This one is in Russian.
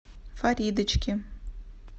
фаридочке